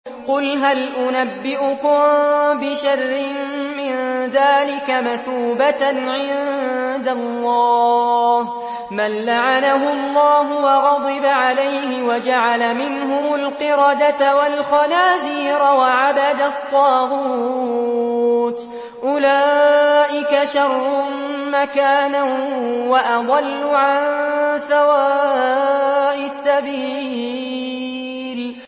قُلْ هَلْ أُنَبِّئُكُم بِشَرٍّ مِّن ذَٰلِكَ مَثُوبَةً عِندَ اللَّهِ ۚ مَن لَّعَنَهُ اللَّهُ وَغَضِبَ عَلَيْهِ وَجَعَلَ مِنْهُمُ الْقِرَدَةَ وَالْخَنَازِيرَ وَعَبَدَ الطَّاغُوتَ ۚ أُولَٰئِكَ شَرٌّ مَّكَانًا وَأَضَلُّ عَن سَوَاءِ السَّبِيلِ